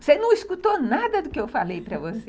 Você não escutou nada do que eu falei para você.